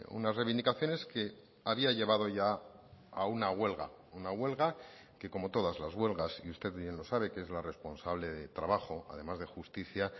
unas reivindicaciones que había llevado ya a una huelga una huelga que como todas las huelgas y usted bien lo sabe que es la responsable de trabajo además de justicia